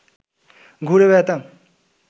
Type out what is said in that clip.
ঘুরে বেড়াতাম